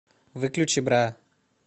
выключи бра